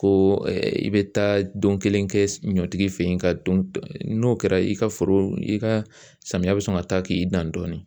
Ko i bɛ taa don kelen kɛ ɲɔtigi fɛ ye ka don n'o kɛra i ka foro i ka samiyɛ bɛ sɔn ka taa k'i dan dɔɔnin